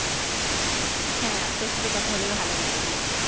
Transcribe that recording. হ্যাঁ আপনার সাথে কথা বলে ভালো লাগলো